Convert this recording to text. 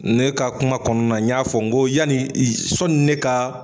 Ne ka kuma kɔnɔna na n y'a fɔ, n ko yanni sɔni ne ka